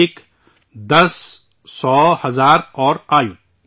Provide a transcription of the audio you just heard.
ایک، دس، سو، ہزار اور ایوت